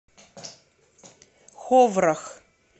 ховрах